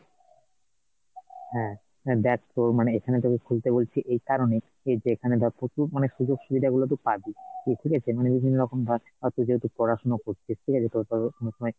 হম, হ্যাঁ দেখ তোর মানে এখানে তোকে খুলতে বলছি এই কারণেই যে এইখানে ধর প্রচুর মানে সুযোগসুবিধা গুলো তু পাবি ঠিক আছে মানে বিভিন্নরকম আছে যেহেতু পড়াশোনা করছিস ঠিক আছে তোর তো অনেকসময়